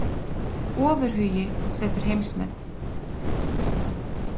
Ofurhugi setur heimsmet